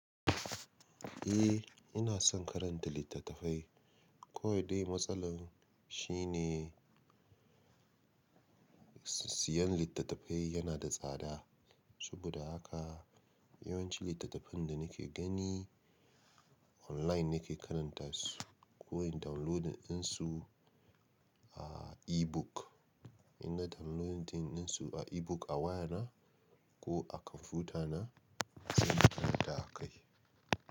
Eh ina son karanta littattafai. Kawai dai matsalar shi ne. Siyan littattafai yana da tsada. Saboda haka yawanci littattafan da nake gani. Online nake karanta su ko in downloadinsu a ebook. In nai downloadinsu a ebook a wayana ko a kwamfutana sai na karanta akai.